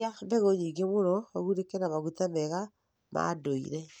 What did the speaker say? Iria mbegũ nyingĩ nĩguo ũgunĩke na maguta mega ma ndũire.